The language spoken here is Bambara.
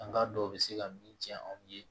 An ka dɔw bɛ se ka min ci anw ye